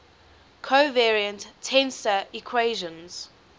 covariant tensor equations